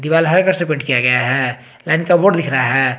दीवाल हरे कलर से पेंट किया गया है लाइन का बोर्ड दिख रहा है।